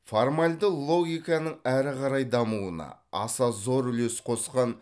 формальді логиканың әрі қарай дамуына аса зор үлес қосқан